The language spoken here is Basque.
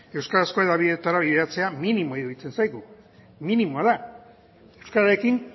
euskarazko hedabideetara bideratzea minimoa iruditzen zaigu minimoa da euskararekin